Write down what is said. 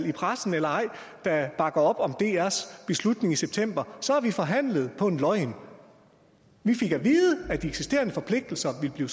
i pressen eller ej der bakker op om drs beslutning i september så har vi forhandlet på en løgn vi fik at vide at de eksisterende forpligtelser ville blive